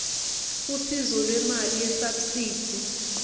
usizo lwemali yesabsidi